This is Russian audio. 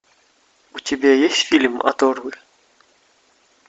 у тебя есть фильм оторвы